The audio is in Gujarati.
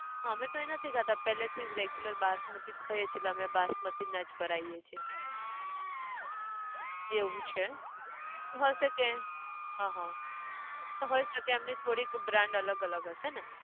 અમે તો એ નથી ખાતા પેહલે થી જ regular બાસમતી ખઈએ છે એટલે અમે બાસમતી ના જ ભરાયીએ છે, એવું છે! હશે કે. અ હ, તો હોય શકે એમની થોડીક brand અલગ અલગ હશે ને